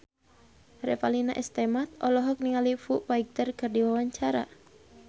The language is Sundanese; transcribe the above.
Revalina S. Temat olohok ningali Foo Fighter keur diwawancara